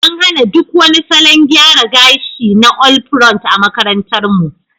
An hana duk wani salon gyara gashi na all pront a makarantarmu.